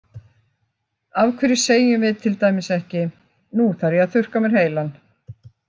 Af hverju segjum við til dæmis ekki: Nú þarf ég að þurrka á mér heilann?